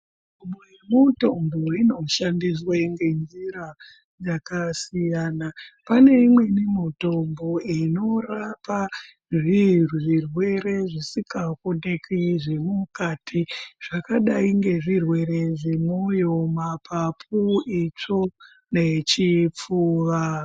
Mitombo inoshandiswe ngenjira dzakasiyana. Pane imweni mutombo inorapa zvirwere zvisikaonekwi zvemukati zvakadai ngezvirwere zvemwoyo, mapapu, itsvo nechipfuva.